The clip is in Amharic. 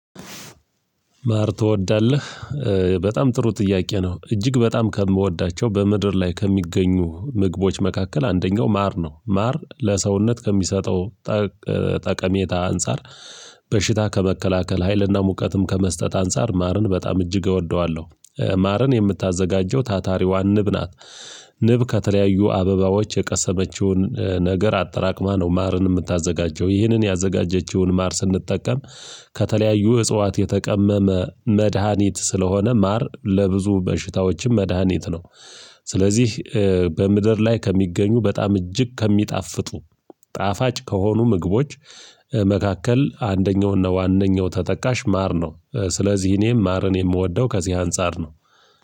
ማር ትወዳለህ? በጣም ጥሩ ጥያቄ ነው እጅግ በጣም ከምወዳቸው በምድር ላይ ከሚገኙ ምግቦች መካከል አንደኛው ማር ነው። ማር ለሰውነት ከሚሰጠው ጠቀሜታ አንፃር በሽታ ከመከላከል ሀይልና ሙቀትም ከመስጠት አንፃር ማርን በጣም እጅግ እወደዋለሁ። ማርን የምታዘጋጀው ታታሪዋ ንብ ናት። ንብ ከተለያዩ አበባዎች የቀሰመችውን ነገር አጠራቅማ ነው። ማርን የምታዘጋጀው ይህንን ያዘጋጀችውን ማር ስንጠቀም ከተለያዩ እጽዋት የተቀመመ መድሃኒት ስለሆነ ማር ለብዙ በሽታዎችም መድሃኒት ነው። ስለዚህ በምድር ላይ ከሚገኙ በጣም እጅግ ከሚጣፍጡ ጣፋጭ ከሆኑ ምግቦች መካከል አንደኛው እና ዋነኛው ተጠቃሽ ማር ነው። ስለዚህ እኔም ማርን የምወደው ከዚህ አንፃር ነው።